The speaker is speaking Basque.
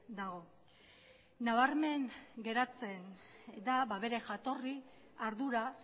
dago nabarmen geratzen da bere jatorri ardura